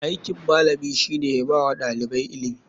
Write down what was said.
Aikin malami shine yabawa ɗalibai ilimi.